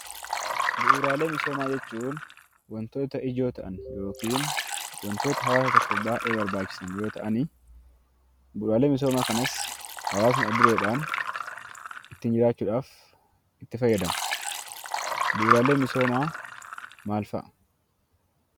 Bu'uuraalee misoomaa jechuun wantoota ijoo ta'an yokiin wantoota hawaasa tokkoof baay'ee barbaachisan yoo ta'anii bu'uuraalee misoomaa kanas hawaasni adda dureedhaan ittiin jiraachuudhaaf itti fayyadama. Bu'uuraalee misoomaa maal fa'a?